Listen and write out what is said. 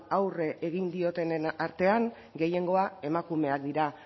aurre egin diotenen artean gehiengoa emakumeak dira